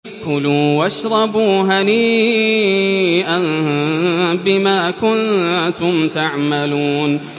كُلُوا وَاشْرَبُوا هَنِيئًا بِمَا كُنتُمْ تَعْمَلُونَ